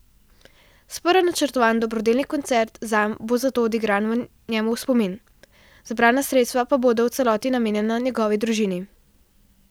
Sprva načrtovan dobrodelni koncert zanj bo zato odigran njemu v spomin, zbrana sredstva pa bodo v celoti namenjena njegovi družini.